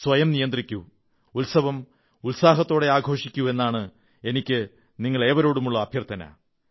സ്വയം നിയന്ത്രിക്കൂ ഉത്സവം ഉത്സാഹത്തോടെ ആഘോഷിക്കൂ എന്നാണ് എനിക്ക് നിങ്ങളേവരോടുമുള്ള അഭ്യർഥന